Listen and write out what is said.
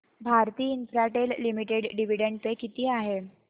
Bharti Infratel limited dividend pay किती आहे